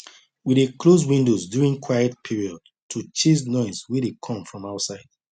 we dey close windows during quiet hours to chase noise wey dey come from outside